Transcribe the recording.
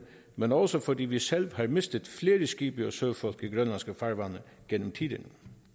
men også fordi vi selv har mistet flere skibe og søfolk i grønlandske farvande gennem tiderne